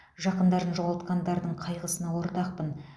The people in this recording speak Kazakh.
жақындарын жоғалтқандардың қайғысына ортақпын